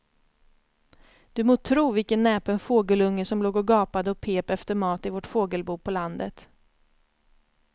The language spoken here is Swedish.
Du må tro vilken näpen fågelunge som låg och gapade och pep efter mat i vårt fågelbo på landet.